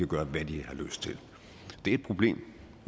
gøre hvad de har lyst til det er et problem